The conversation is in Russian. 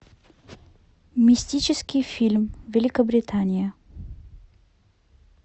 мистический фильм великобритания